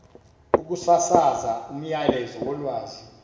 ukusasaza umyalezo wolwazi